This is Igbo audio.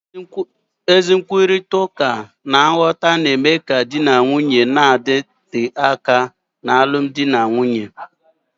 Ezi nkwurịta uka na nghọta na-eme ka di na nwunye na-adịte aka n'alụmdi na nwunye